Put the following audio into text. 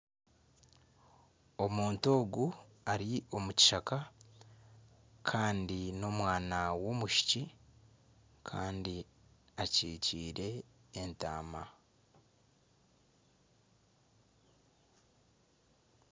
Omuntu ogu ari omu kishaka kandi n'omwana w'omwishiki kandi akyikyire entaama.